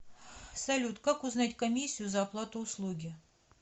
салют как узнать комиссию за оплату услуги